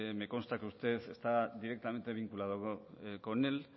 me consta que usted está directamente vinculada con él